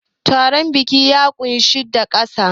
Taron biki yana ƙunshe da gasa.